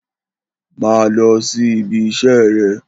Má a lo̩ sí ibi is̩é̩ re̩!